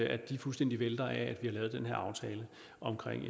at de fuldstændig vælter af at vi har lavet den her aftale om